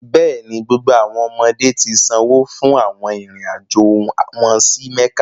Bẹẹni, gbogbo awọn ọmọde ti sanwo fun awọn irin-ajo wọn si Mekka.